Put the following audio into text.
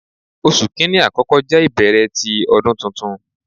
Oṣu Kini akọkọ jẹ ibẹrẹ ti Ọdun Tuntun